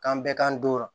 K'an bɛɛ k'an donra